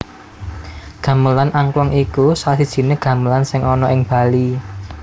Gamelan Angklung iku salah sijining gamelan sing ana ing Bali